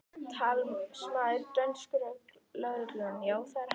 Talsmaður dönsku lögreglunnar: Já, það er hann?